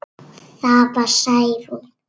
Það var Særún.